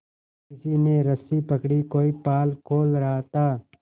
किसी ने रस्सी पकड़ी कोई पाल खोल रहा था